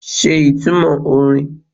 Ṣe ìtumọ̀ orin?